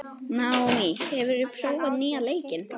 Naomí, hefur þú prófað nýja leikinn?